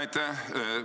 Aitäh!